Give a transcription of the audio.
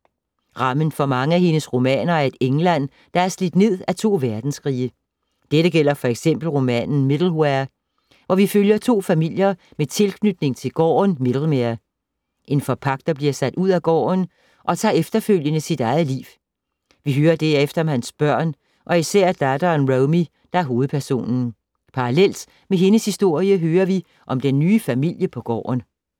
Rammen for mange af hendes romaner er et England, der er slidt ned af to verdenskrige. Dette gælder for eksempel romanen Middlemere, hvor vi følger to familier med tilknytning til gården Middlemere. En forpagter bliver sat ud af gården og tager efterfølgende sit eget liv. Vi hører derefter om hans børn og især datteren Romy, der er hovedperson. Parallelt med hendes historie, hører vi om den nye familie på gården.